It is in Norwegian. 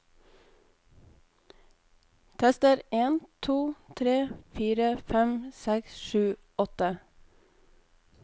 Tester en to tre fire fem seks sju åtte